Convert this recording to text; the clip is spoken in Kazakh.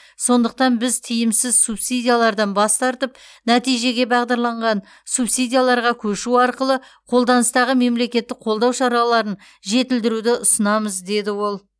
сондықтан біз тиімсіз субсидиялардан бас тартып нәтижеге бағдарланған субсидияларға көшу арқылы қолданыстағы мемлекеттік қолдау шараларын жетілдіруді ұсынамыз деді ол